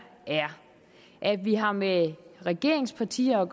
er at vi har med regeringspartier og